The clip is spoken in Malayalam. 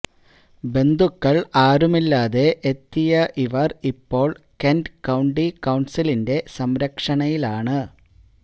ബന്ധുക്കൾ ആരുമില്ലാതെ എത്തിയ ഇവർ ഇപ്പോൾ കെന്റ് കൌണ്ടി കൌൺസിലിന്റെ സംരക്ഷണയിലാണ്